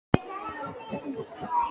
Játgeir, hvað er í dagatalinu í dag?